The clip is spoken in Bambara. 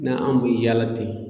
N'an kun me yaala ten